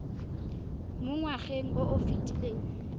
mo ngwageng o o fetileng